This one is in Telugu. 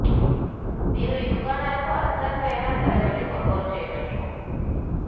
మీరు ఈ దుకాణాలకు అర్ధరాత్రి అయినా సరే వెళ్ళి కొనుగోళ్ళు చేయవచ్చు